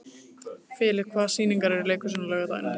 Filip, hvaða sýningar eru í leikhúsinu á laugardaginn?